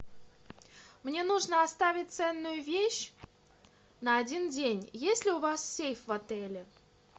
мне нужно оставить ценную вещь на один день есть ли у вас сейф в отеле